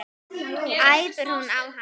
æpir hún á hann.